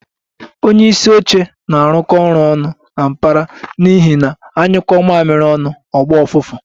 Onye isi oche na-arụkọ ọrụ ọnụ na mkpara n'ihi na anyuko mamiri onu o gba ufufu